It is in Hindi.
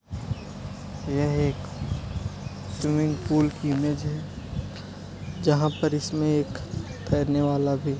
यह एक स्विमिंग-पूल की मेज है जहा पर इसमे एक तैरने वाला भी --